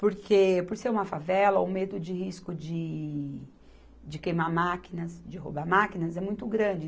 Porque, por ser uma favela, o medo de risco de de queimar máquinas, de roubar máquinas é muito grande.